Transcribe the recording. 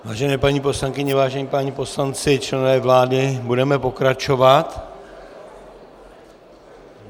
Vážené paní poslankyně, vážení páni poslanci, členové vlády, budeme pokračovat.